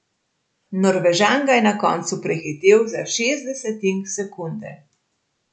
Norvežan ga je na koncu prehitel za šest desetink sekunde.